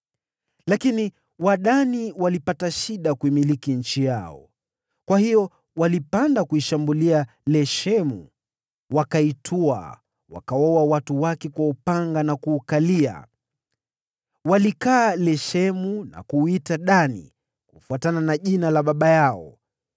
(Lakini Wadani walipata shida kulimiliki eneo lao; kwa hiyo walipanda kuishambulia Leshemu, wakaitwaa, wakawaua watu wake kwa upanga na kuukalia. Walikaa Leshemu na kuuita Dani kufuatana na jina la baba yao.)